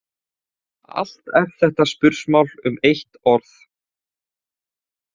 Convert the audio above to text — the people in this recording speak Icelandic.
Allt er þetta spursmál um eitt orð.